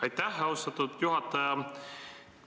Aitäh, austatud juhataja!